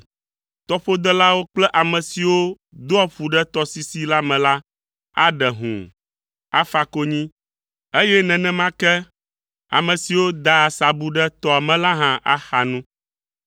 Tɔƒodelawo kple ame siwo doa ƒu ɖe tɔsisi la me la aɖe hũu, afa konyi, eye nenema ke ame siwo daa asabu ɖe tɔa me la hã axa nu.